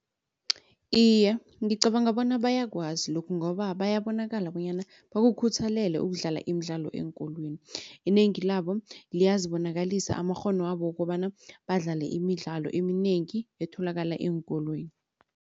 Iye ngicabanga bona bayakwazi lokhu ngoba bayabonakala bonyana bakukhuthalele ukudlala imidlalo eenkolweni. Inengi labo liyazibonakalisa amakghono wabo wokobana badlale imidlalo eminengi etholakala eenkolweni.